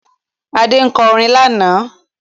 Adé kọ orin lánàá